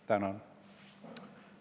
Tänan!